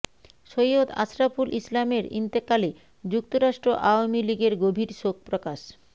সৈয়দ আশরাফুল ইসলামের ইন্তেকালে যুক্তরাষ্ট্র আওয়ামী লীগের গভীর শোক প্রকাশ